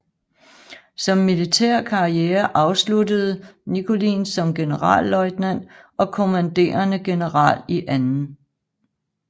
Sin militære karriere afsluttede Nickolin som generalløjtnant og kommanderende general i 2